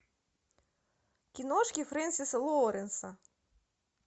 киношки фрэнсиса лоуренса